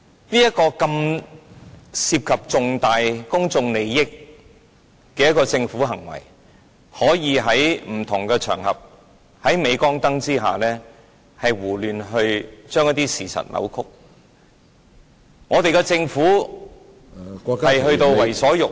這是涉及重大公眾利益的事件，政府竟可以在不同場合，在鎂光燈下胡亂將事實扭曲，政府已經到了為所欲為......